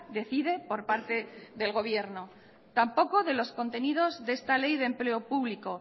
decide por parte del gobierno tampoco de los contenidos de esta ley de empleo público